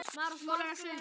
Við misstum þá.